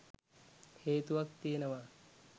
හේතුවක් තියෙනවා.